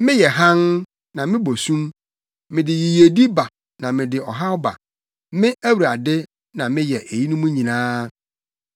Meyɛ hann, na mebɔ sum. Mede yiyedi ba na mede ɔhaw ba; Me, Awurade, na meyɛ eyinom nyinaa.